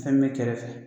Fɛn bɛ kɛrɛfɛ